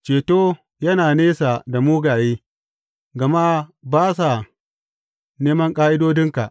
Ceto yana nesa da mugaye, gama ba sa neman ƙa’idodinka.